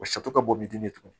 O ka bɔ biden de kun